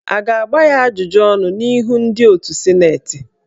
A ga-agba ya ajụjụ ọnụ n'ihu ndị otù sịnetị?